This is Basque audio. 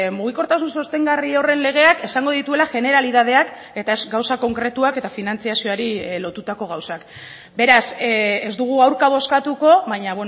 mugikortasun sostengarri horren legeak esango dituela generalidadeak eta ez gauza konkretuak eta finantzazioari lotutako gauzak beraz ez dugu aurka bozkatuko baina